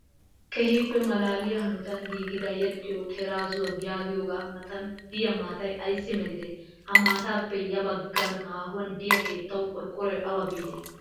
keehippe maalaliya hanotan giigida yedhdhiyo teeraazuwa yagiyoogaga matan diya maatayi ayissi melidee? Ha maataappe ya baggan haahuwaan diyaa keetawu qorqqoroy awa biide?